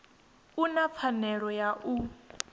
u na pfanelo ya u